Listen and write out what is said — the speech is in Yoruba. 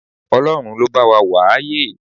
Ọlọ́run ló bá wa wà á yè